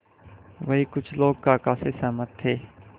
वहीं कुछ लोग काका से सहमत थे